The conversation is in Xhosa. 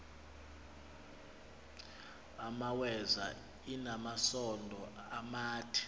imaweza inamasond amade